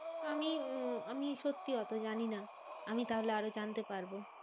আমি উম আমি সত্যি ওতো জানিনা। আমি তাহলে আরো জানতে পারবো।